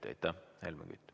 Helmen Kütt, palun!